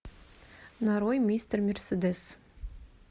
нарой мистер мерседес